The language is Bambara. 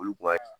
Olu kun ka can